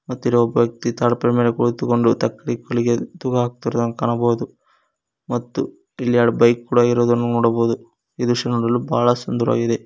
ಹತಿರೋ ಒಬ್ಬ ವ್ಯಕ್ತಿ ತಾಳಪ್ರಮೇಣ ಕುಳ್ಳಿತುಕೊಂಡು ತಕ್ಕಡಿ ಹೊಲಿಗೆಯಲ್ಲಿ ತೂಗ್ ಹಾಗ್ ತಿರುವುದನ್ನು ಕಾಣಬೋದು ಮತ್ತು ಇಲ್ಲಿ ಎರಡ್ ಬೈಕ್ ಕೂಡ ಇರುವುದನ್ನು ನೋಡಬಹುದು ಈ ದೃಶ್ಯ ನೋಡಲು ಬಹಳ ಸುಂದರವಾಗಿದೆ.